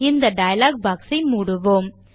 இந்த dialog box ஐ மூடுவோம்